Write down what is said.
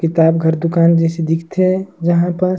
किताब घर दुकान जइसे दिख थे जहां पर--